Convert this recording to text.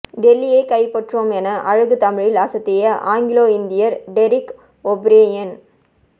டெல்லியை கைப்பற்றுவோம் என அழகு தமிழில் அசத்திய ஆங்கிலோ இந்தியர் டெரிக் ஓ பிரையன்